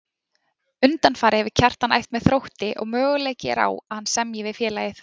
Undanfarið hefur Kjartan æft með Þrótti og möguleiki er á að hann semji við félagið.